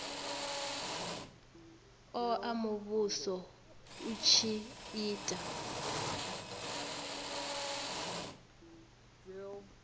oa muvhuso u tshi ita